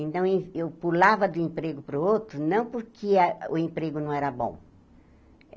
Então, ê eu pulava do emprego para o outro, não porque a o emprego não era bom.